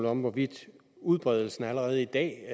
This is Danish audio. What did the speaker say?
om hvorvidt udbredelsen allerede i dag